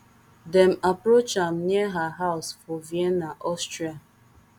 dem approach am near her house for vienna austria